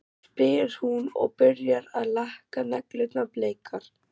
spyr hún og byrjar að lakka neglurnar bleikar.